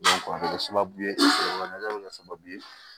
a bɛ kɛ sababu ye a bɛ kɛ sababu ye